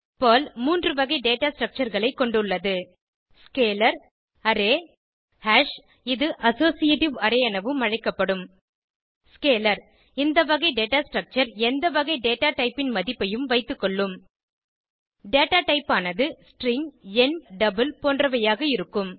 Perl 3 வகை data structure களை கொண்டுள்ளது ஸ்கேலர் அரே ஹாஷ் இது அசோசியேட்டிவ் அரே எனவும் அழைக்கப்படும் Scalar இந்த வகை டேட்டா ஸ்ட்ரக்சர் எந்த வகை டேட்டா டைப் ன் மதிப்பையும் வைத்துக்கொள்ளும் டேட்டா டைப் ஆனது ஸ்ட்ரிங் எண் டபிள் போன்றவையாக இருக்கும்